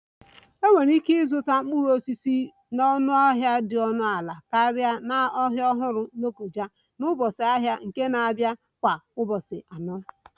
Enwere ike ịzụta mkpụrụ osisi na ọnụahịa dị ọnụ ala karịa na New market lokoja na ụbọchị ahịa nke na-abịa kwa ụbọchị anọ